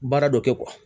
Baara dɔ kɛ